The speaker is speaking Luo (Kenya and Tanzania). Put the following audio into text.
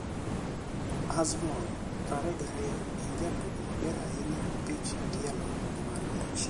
Azmoun, 22, en jatugo maber ahinya e opinch tielo gi mar wich.